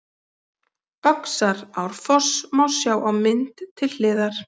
Öxarárfoss má sjá á mynd til hliðar.